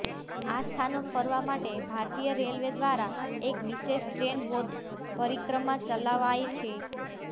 આ સ્થાનો ફરવા માટે ભારતીય રેલવે દ્વારા એક વિશેષ ટ્રેન બૌદ્ધ પરિક્રમા ચલાવાય છે